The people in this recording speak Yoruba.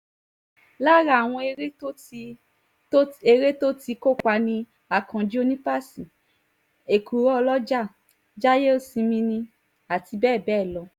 lára àwọn ère tó ère tó ti kópa ni akànji onípasí ẹ̀kúrò ọlọ́jà jáìyèsìnmi àti bẹ́ẹ̀ bẹ́ẹ̀ lọ